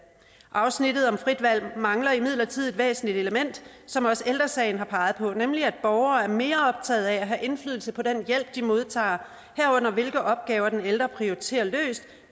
afsnittet om frit valg mangler imidlertid et væsentligt element som også ældre sagen har peget på nemlig at borgere er mere optaget af at have indflydelse på den hjælp de modtager herunder hvilke opgaver den ældre prioriterer løst